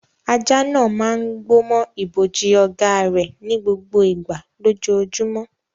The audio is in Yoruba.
Ajá náà máa ń gbó mọ́ ibojì ọ̀gá rẹ̀ ní gbogbo ìgbà lójoojúmọ́.